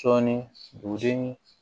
Sɔɔni buru ni